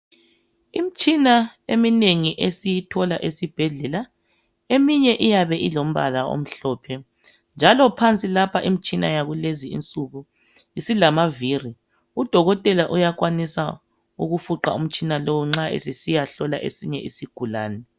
Imtshina eminengi esiyithola esibhedlela. Eminye iyabe ilombala omhlophe .Njalo phansi lapha imtshina yakulezi insuku isilamavili .Udokotela uyakwanisa ukufuqa umtshina lowu nxa esesiyahlola esinye isigulane .